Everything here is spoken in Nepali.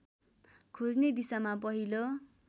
खोज्ने दिशामा पहिलो